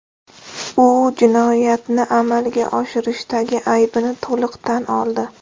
U jinoyatni amalga oshirishdagi aybini to‘liq tan oldi.